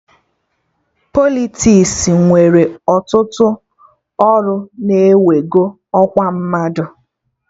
Politiks nwere ọtụtụ ọrụ na-ewego ọkwa mmadụ